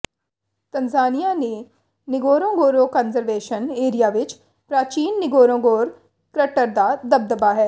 Tanzania ਦੇ Ngorongoro conservation area ਵਿੱਚ ਪ੍ਰਾਚੀਨ ਨਿਗੋਰੋਂਗੋਰ ਕ੍ਰਟਰ ਦਾ ਦਬਦਬਾ ਹੈ